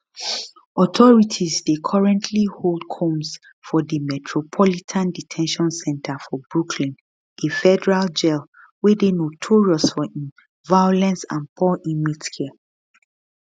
authorities dey currently hold combs for di metropolitan de ten tion center for brooklyn a federal jail wey dey notorious for im violence and poor inmate care